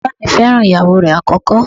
Bàbáà mi fẹ́ràn ìyàwó rẹ̀ àkọ́kọ́.